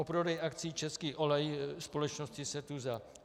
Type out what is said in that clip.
O prodej akcií Český olej společnosti Setuza.